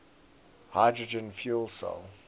hydrogen fuel cell